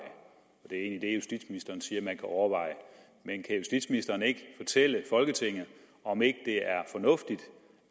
det er egentlig det justitsministeren siger man kan overveje men kan justitsministeren ikke fortælle folketinget om ikke det er fornuftigt